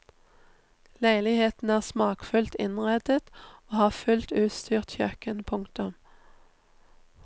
Leilighetene er smakfullt innredet og har fullt utstyrt kjøkken. punktum